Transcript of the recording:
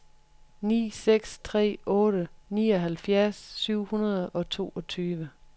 ni seks tre otte nioghalvfjerds syv hundrede og toogtyve